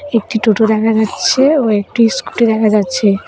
একটি টোটো দেখা যাচ্ছে ও একটি স্কুটি দেখা যাচ্ছে।